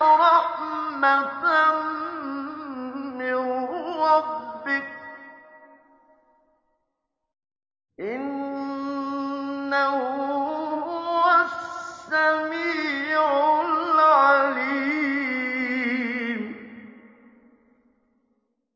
رَحْمَةً مِّن رَّبِّكَ ۚ إِنَّهُ هُوَ السَّمِيعُ الْعَلِيمُ